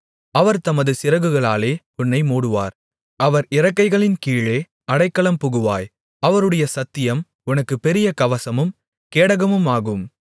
அவர் தமது சிறகுகளாலே உன்னை மூடுவார் அவர் இறக்கைகளின் கீழே அடைக்கலம் புகுவாய் அவருடைய சத்தியம் உனக்கு பெரிய கவசமும் கேடகமுமாகும்